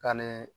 Ka ne